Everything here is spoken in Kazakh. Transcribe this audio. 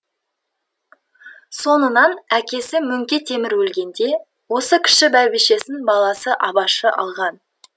соңынан әкесі мөңке темір өлгенде осы кіші бәйбішесін баласы абашы алған